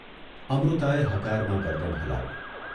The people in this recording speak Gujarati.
અમૃતાએ હકારમાં ગરદન હલાવી.